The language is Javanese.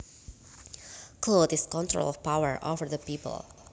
Clout is control or power over other people